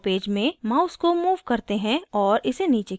draw page में mouse को move करते हैं और इसे नीचे खींचते हैं